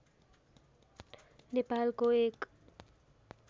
नेपालको एक